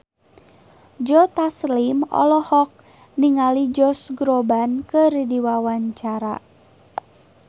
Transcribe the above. Joe Taslim olohok ningali Josh Groban keur diwawancara